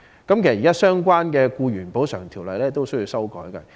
此外，現時相關的《僱員補償條例》也要修訂。